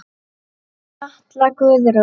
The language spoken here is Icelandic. Katla Guðrún.